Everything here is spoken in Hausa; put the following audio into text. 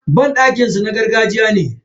Banɗakin su na gargajiya ne.